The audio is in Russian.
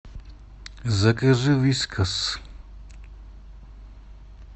закажи вискас